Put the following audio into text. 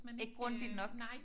Ikke grundigt nok